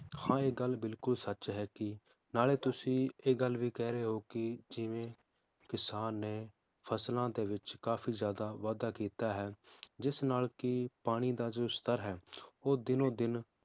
ਹਾਂ ਇਹ ਗੱਲ ਬਿਲਕੁਲ ਸੱਚ ਹੈ ਕੀ, ਨਾਲੇ ਤੁਸੀਂ ਇਹ ਗੱਲ ਵੀ ਕਿਹਰੇ ਹੋ ਕੀ ਜਿਵੇ ਕਿਸਾਨ ਨੇ ਫਸਲਾਂ ਦੇ ਵਿਚ ਕਾਫੀ ਜ਼ਿਆਦਾ ਵਾਧਾ ਕੀਤਾ ਹੈ, ਜਿਸ ਨਾਲ ਕੀ ਪਾਣੀ ਦਾ ਜੋ ਸਤਰ ਹੈ ਉਹ ਦੀਨੋ ਦਿਨ